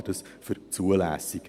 Ich halte das für zulässig.